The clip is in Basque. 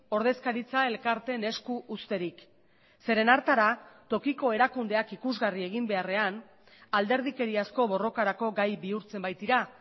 ordezkaritza elkarteen esku uzterik zeren hartara tokiko erakundeak ikusgarri egin beharrean alderdikeriazko borrokarako gai bihurtzen baitira